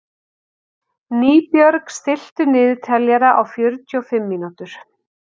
Nýbjörg, stilltu niðurteljara á fjörutíu og fimm mínútur.